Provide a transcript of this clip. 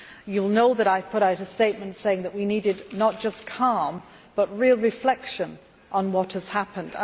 You will know that I have put out a statement saying that we needed not just calm, but real reflection on what has happened.